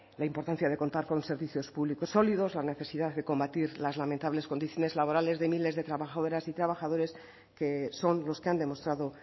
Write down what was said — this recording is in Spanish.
la importancia de contar con unos servicios públicos sólidos la necesidad de combatir las lamentables condiciones laborales de miles de trabajadoras y trabajadores que son los que han demostrado